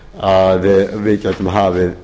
að við gætum hafið